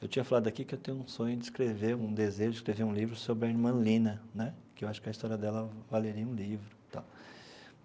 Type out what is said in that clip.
Eu tinha falado aqui que eu tenho um sonho de escrever, um desejo de escrever um livro sobre a irmã Lina né, que eu acho que a história dela valeria um livro tal.